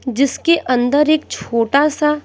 जिसके अंदर एक छोटा सा--